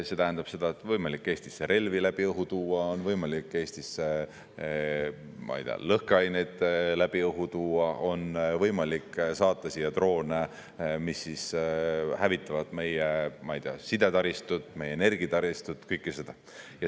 See tähendab seda, et on võimalik Eestisse relvi läbi õhu tuua, on võimalik Eestisse, ma ei tea, lõhkeaineid läbi õhu tuua, on võimalik saata siia droone, mis hävitavad meie sidetaristut, meie energiataristut, kõike seda.